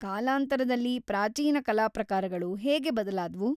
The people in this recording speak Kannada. ಕಾಲಾಂತರದಲ್ಲಿ ಪ್ರಾಚೀನ ಕಲಾ ಪ್ರಕಾರಗಳು ಹೇಗೆ ಬದಲಾದ್ವು?